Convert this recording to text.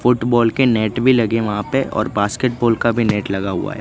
Football के net भी लगे वहां पे और बास्केटबॉल का भी नेट लगा हुआ है।